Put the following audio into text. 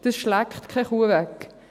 Das schleckt keine Kuh weg.